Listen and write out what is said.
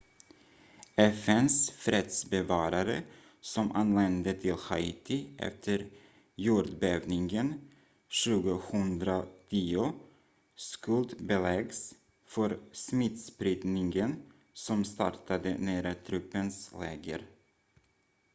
fns fredsbevarare som anlände till haiti efter jordbävningen 2010 skuldbeläggs för smittspridningen som startade nära truppens läger